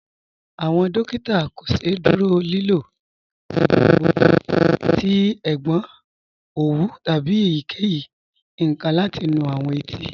Awọn dòkìtà kò sẹ̀dúrò lìlò igbàgbọ̀gbọ̀ tí ègbọn owú tábí èyíkeyí nkan láti nú awọn ètí.